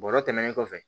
Bɔrɔ tɛmɛnen kɔfɛ